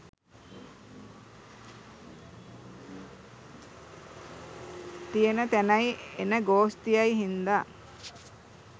තියෙන තැනයි එන ගෝස්තියයි හින්දා